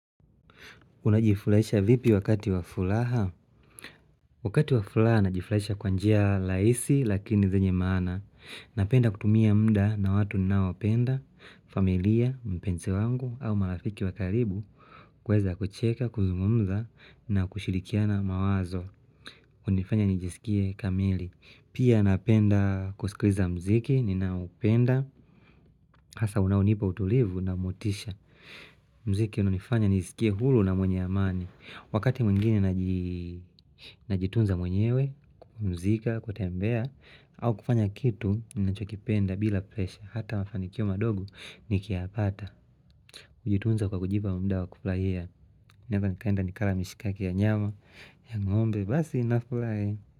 Unajifurahisha vipi wakati wa furaha? Wakati wa furaha najifurahisha kwa njia rahisi lakini zenye maana. Napenda kutumia muda na watu ninaowapenda, familia, mpenzi wangu au marafiki wa karibu kuweza kucheka, kuzungumza na kushirikiana mawazo. Hunifanya nijisikie kamili. Pia napenda kusikiliza muziki, ninaoupenda, hasa unaonipa utulivu na motisha. Muziki unanifanya nijisikie huru na mwenye amani. Wakati mwingine najitunza mwenyewe, kupumzika, kutembea au kufanya kitu ninachokipenda bila presha Hata mafanikiyo madogo nikiyapata. Hujitunza kwa kujipa muda wa kufurahia. Naeza nikaenda nikala mishikaki ya nyama, ya ngombe, basi ninafurahi.